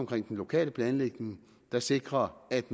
den lokale planlægning der sikrer at